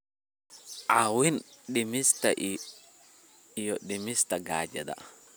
caawin dhimista iyo dhimista gaajada.